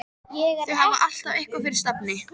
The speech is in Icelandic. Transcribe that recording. Þau hafa alltaf eitthvað fyrir stafni.